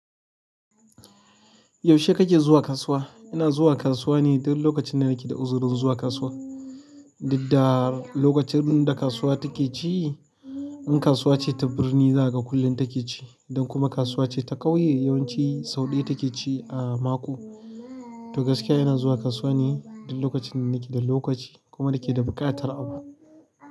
Yaushe kake zuwa kasuwa? Ina zuwa kasuwa ne duk lokacin da nake da uzurin zuwa kasuwa. Didda lokacin da kasuwa take ci, in kasuwa ce ta birni za ka kulle take ci, idan kuma kasuwa ce ta ƙauye yawanci sau ɗaya take ci a mako. To gaskiya ina zuwa kasuwa ne duk lokacin da nake da lokaci kuma nake da buƙatar abu.